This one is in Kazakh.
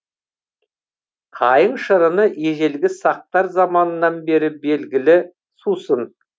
қайың шырыны ежелгі сақтар заманынан бері белгілі сусын